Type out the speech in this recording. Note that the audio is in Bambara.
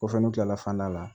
Kɔfɛ n kilala fan da la